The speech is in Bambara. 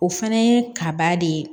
O fana ye kaba de ye